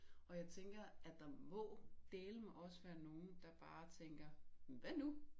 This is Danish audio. Og jeg tænker at der må dælme også være nogen der bare tænker men hvad nu